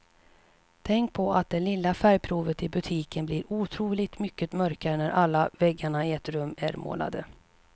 Tänk på att det lilla färgprovet i butiken blir otroligt mycket mörkare när alla väggarna i ett rum är målade.